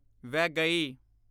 Vaigai